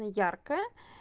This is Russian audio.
яркая